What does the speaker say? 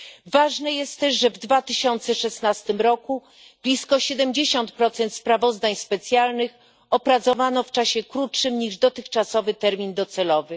Ważne jest też, że w 2016 roku blisko 70 sprawozdań specjalnych opracowano w czasie krótszym niż dotychczasowy termin docelowy.